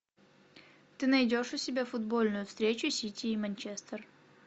ты найдешь у себя футбольную встречу сити и манчестер